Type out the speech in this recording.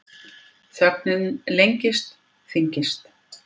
Þögnin lengist, þyngist.